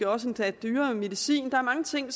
også betale dyrere medicin der er mange ting